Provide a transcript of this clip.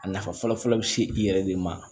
A nafa fɔlɔ fɔlɔ bi se i yɛrɛ de ma